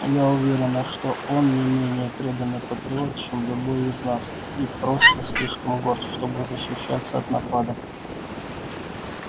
я уверена что он не менее преданный патриот чем любой из нас и просто слишком горд чтобы защищаться от нападок